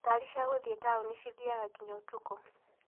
Ngari cia gũthie taũni cithiaga nginya ũtukũ.